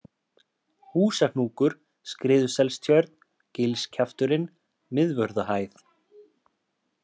Húsahnúkur, Skriðuselstjörn, Gilskjafturinn, Miðvörðuhæð